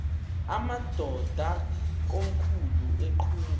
amadod akomkhul eqhub